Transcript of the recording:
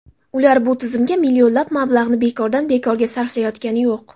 Ular bu tizimga millionlab mablag‘ni bekordan-bekorga sarflayotgani yo‘q.